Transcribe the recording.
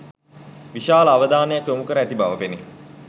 විශාල අවධානයක් යොමුකර ඇති බව පෙනේ.